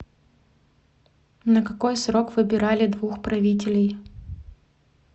на какой срок выбирали двух правителей